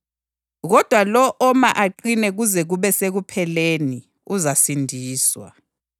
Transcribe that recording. kodwa lowo oma aqine kuze kube sekupheleni uzasindiswa.